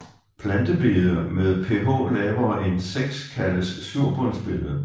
Plantebede med pH lavere end 6 kaldes surbundsbede